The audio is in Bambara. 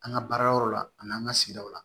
An ka baara yɔrɔ la ani an ka sigidaw la